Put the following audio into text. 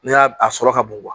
Ne y'a a sɔrɔ ka bon